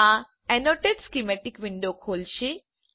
આ annotated schematic window ખોલશે